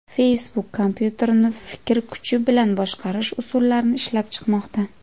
Facebook kompyuterni fikr kuchi bilan boshqarish usullarini ishlab chiqmoqda.